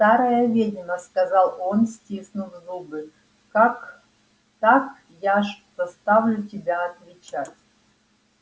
старая ведьма сказал он стиснув зубы так так я ж заставлю тебя отвечать